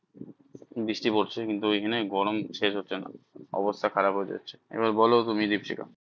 বৃষ্টি পড়ছে কিন্তু ঐখানে গরম শেষ হচ্ছে না অবস্থা খারাপ হয়ে যাচ্ছে এবার বলো তুমি দ্বীপশিখা?